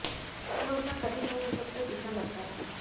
यह उतना कठिन नहीं हो सकता जितना लगता है